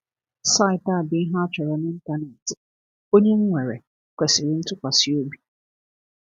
Saịtị a bụ ihe a chọrọ n’ịntanetị, onye nwere kwesiri ntụkwasi obi!